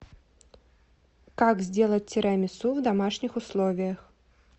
как сделать тирамису в домашних условиях